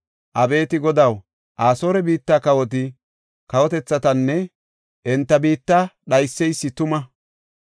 Abeeti Godaw, Asoore biitta kawoti kawotethatanne enta biitta dhayseysi tuma.